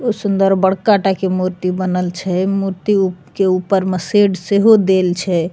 उ सुन्दर बड़का टाके मूर्ति बनल छे मूर्ति उ के ऊपर में शेड से हो देल छे।